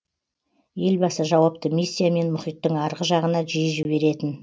елбасы жауапты миссиямен мұхиттың арғы жағына жиі жіберетін